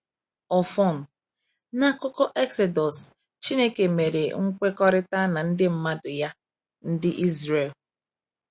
Ọfọn, n’akụkọ Exodus, Chineke mere nkwekọrịta na ndị mmadụ Ya, Ndị Izrel.